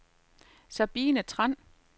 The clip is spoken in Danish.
Sabine Tran